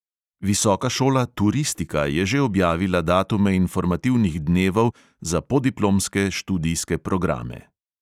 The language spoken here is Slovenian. Visoka šola turistika je že objavila datume informativnih dnevov za podiplomske študijske programe.